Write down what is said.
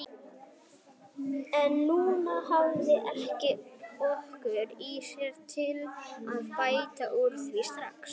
En hún hafði ekki orku í sér til að bæta úr því strax.